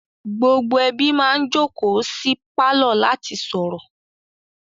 Gbogbo ẹbí máa ń jókòó sí pálọ̀ láti sọ̀rọ̀